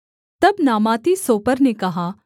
तब नामाती सोपर ने कहा